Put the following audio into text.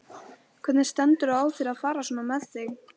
Hvernig stendur á þér að fara svona með þig?